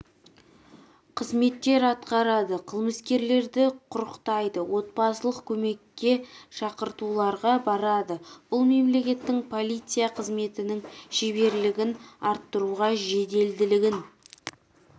қызметтер атқарады қылмыскерлерді құрықтайды отбасылық көмекке шақыртуларға барады бұл мемлекеттің полиция қызметінің шеберлігін арттыруға жеделділігін